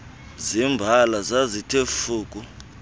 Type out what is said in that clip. zembala zazithe fuku